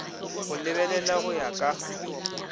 go lebelela go ya ka